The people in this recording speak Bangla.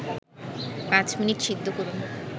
৫ মিনিট সিদ্ধ করুন